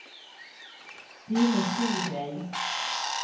Det är en ingen stor grej.